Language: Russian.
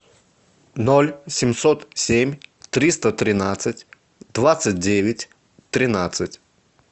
ноль семьсот семь триста тринадцать двадцать девять тринадцать